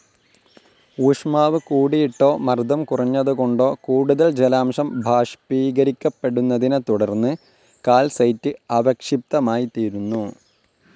ഊഷ്മാവ് കൂടിയിട്ടോ, മർദ്ദം കുറഞ്ഞതുകൊണ്ടോ കൂടുതൽ ജലാംശം ബാഷ്പീകരിക്കപ്പെടുന്നതിനെതുടർന്ന് കാൽസൈറ്റ്‌ അവക്ഷിപ്തമായിതീരുന്നു.